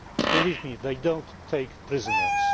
Believe me, they do not take prisoners.